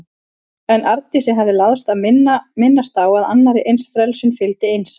En Arndísi hafði láðst að minnast á að annarri eins frelsun fylgdi einsemd.